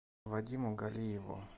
вадиму галиеву